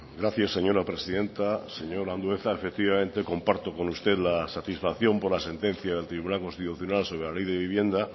gracias señora presidenta señor andueza sencillamente comparto con usted la satisfacción por la sentencia del tribunal constitucional sobre la ley de vivienda